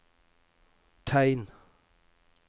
tegn